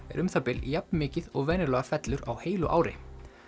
er um það bil jafn mikið og venjulega fellur á heilu ári